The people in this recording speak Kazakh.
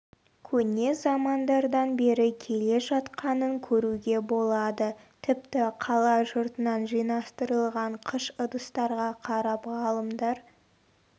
көне замандардан бері келе жатқанын көруге болады тіпті қала жұртынан жинастырылған қыш ыдыстарға қарап ғалымдар